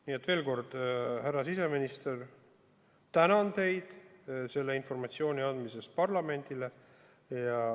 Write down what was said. Nii et veel kord, härra siseminister, tänan teid parlamendile selle informatsiooni andmise eest!